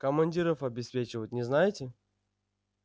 командиров обеспечивают не знаете